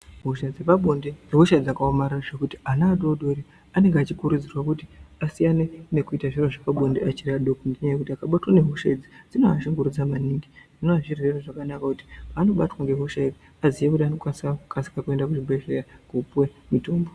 Hosha dzepabonde, ihosha dzakawomarara zvekuti ana adori dori anenge achikurudzirwa kuti asiyane nekuita zviro zvepabonde vachiri vaduku nekuti vakabatwa nehosha idzi dinovashungurudza maningi zvinova zvirwere zvakanaka kuti kana vabatwa nehosha idzi vazive kuti vanofanira kukasika kuenda kuzvibhedleya kunopiwe mitombo.